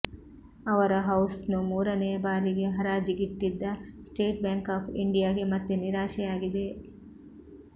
ಅವರ ಹೌಸ್ನ್ನು ಮೂರನೆಯ ಬಾರಿಗೆ ಹರಾಜಿಗ್ಗಿಟ್ಟಿದ್ದ ಸ್ಟೇಟ್ ಬ್ಯಾಂಕ್ ಆಫ್ ಇಂಡಿಯಾಗೆ ಮತ್ತೆ ನಿರಾಶೆಯಾಗಿದೆ